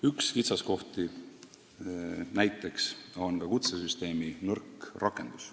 Üks kitsaskoht on näiteks ka kutsesüsteemi nõrk rakendus.